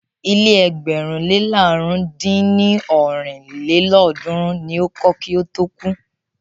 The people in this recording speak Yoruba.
Ilé ẹgbẹ̀rún le làrún dín ní ọ́rin lélọ́ọ̀dúnrún ni o kọ́ kí ó tó kú.